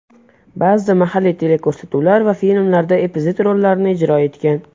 Ba’zida mahalliy teleko‘rsatuvlar va filmlarda epizod rollarni ijro etgan.